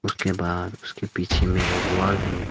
के बाद उसके पीछे में एक वॉल है।